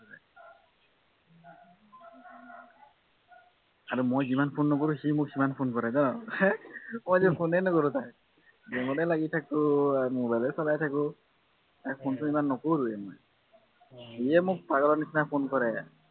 আৰু মই যিমান phone নকৰো সি মোক সিমান phone কৰে মই যে phone এ নকৰো তাইক game তে লাগি থাকো আৰু mobile এ চলাই থাকো তাক phone চোন ইমান নকৰোৱে মই সিয়ে মোক পাগলা নিচিনা phone কৰে